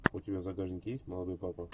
у тебя в загашнике есть молодой папа